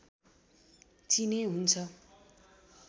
चिने हुन्छ